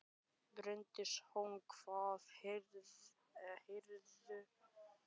Bryndís Hólm: Hvað færðu út úr tónlistinni?